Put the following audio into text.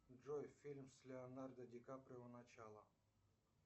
джой фильм с леонардо ди каприо начало